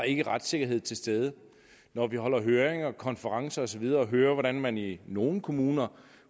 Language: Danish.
ikke retssikkerhed til stede når vi afholder høringer og konferencer og så videre og hører hvordan man i nogle kommuner